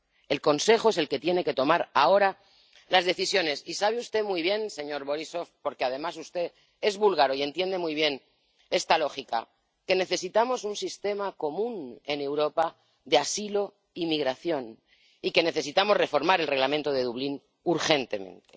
El Consejo es el que tiene que tomar ahora las decisiones y sabe usted muy bien, señor Borísov ―porque, además, usted es búlgaro y entiende muy bien esta lógica—, que necesitamos un sistema común en Europa de asilo y migración, y que necesitamos reformar el Reglamento de Dublín urgentemente.